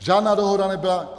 Žádná dohoda nebyla.